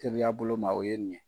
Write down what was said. Teriya bolo ma, o ye nin ye.